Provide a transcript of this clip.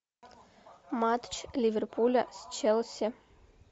матч ливерпуля с челси